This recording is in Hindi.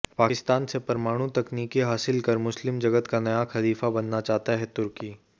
पाकिस्तान से परमाणु तकनीकी हासिल कर मुस्लिम जगत का नया खलीफा बनना चाहता है तुर्की